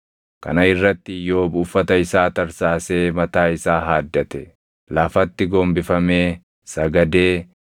Kana irratti Iyyoob uffata isaa tarsaasee mataa isaa haaddate. Lafatti gombifamee sagadee